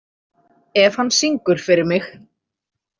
Ef hann syngur fyrir mig.